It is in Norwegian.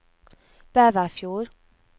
Bæverfjord